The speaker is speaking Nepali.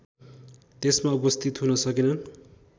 त्यसमा उपस्थित हुन सकेनन्